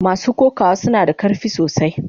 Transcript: Mason kokawa suna da karfi sosai.